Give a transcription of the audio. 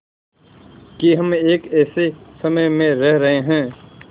कि हम एक ऐसे समय में रह रहे हैं